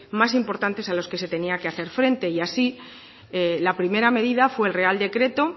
más importantes a los que se tenía que hacer frente y así la primera medida fue el real decreto